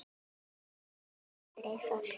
Má ég tala? spyr Eyþór.